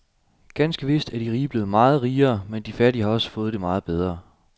Ganske vist er de rige blevet meget rigere, men de fattige har også fået det meget bedre.